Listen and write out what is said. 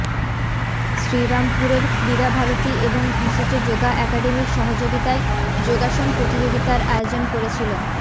শ্রীরামপুরের ক্রীড়া ভারতী এবং ঘোষেজ যোগা অ্যাকাডেমির সহযোগিতায় যোগাসন প্রতিযোগিতার আয়োজন করেছিল